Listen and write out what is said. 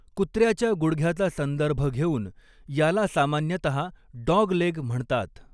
कुत्र्याच्या गुडघ्याचा संदर्भ घेऊन याला सामान्यतः 'डॉगलेग' म्हणतात.